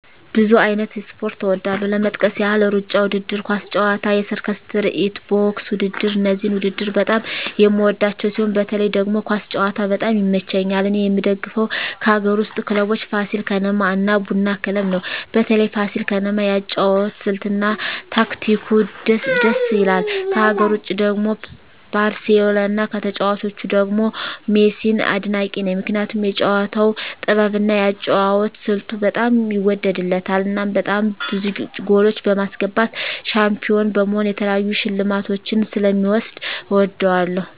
ብዙ አይነት ስፖርት እወዳለሁ ለመጥቀስ ያህል እሩጫ ውድድር፣ ኳስ ጨዋታ፣ የሰርከስ ትርኢት፣ ቦክስ ውድድር እነዚህን ውድድር በጣም የምወዳቸው ሲሆን በተለይ ደግሞ ኳስ ጨዋታ በጣም ይመቸኛል እኔ የምደግፈው ከአገር ውስጥ ክለቦች ፋሲል ከነማ እና ቡና ክለብ ነው በተለይ ፋሲል ከነማ የአጨዋወት ስልት እና ታክቲኩ ድስ ይላል ከሀገር ውጭ ደግሞ ባርሴሎና ከተጫዋቾቹ ደግሞ ሜሲን አድናቂ ነኝ ምክንያቱም የጨዋታው ጥበብ እና የአጨዋወት ስልቱ በጣም ይወደድለታል እናም በጣም ብዙ ጎሎች በማስገባት ሻንፒሆን በመሆን የተለያዩ ሽልማቶችን ስለ ሚወስድ እወደዋለሁ።